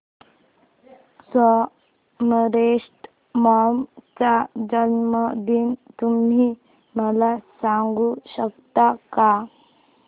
Somerset Maugham चा जन्मदिन तुम्ही मला सांगू शकता काय